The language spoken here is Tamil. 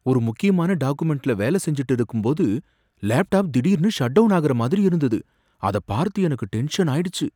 ஒரு முக்கியமான டாகுமெண்ட்ல வேலை செஞ்சுட்டு இருக்கும்போது லேப்டாப் திடீர்னு ஷட்டவுன் ஆகுற மாதிரி இருந்தது, அத பார்த்து எனக்கு டென்ஷனாயிடுச்சு.